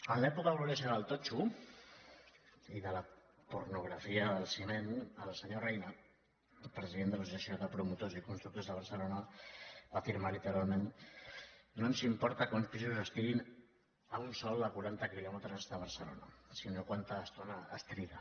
en l’època gloriosa del totxo i de la pornografia del ciment el senyor reyna el president de l’associació de promotors i constructors de barcelona va afirmar literalment no ens importa que uns pisos estiguin a un sòl a quaranta quilòmetres de barcelona sinó quanta estona es triga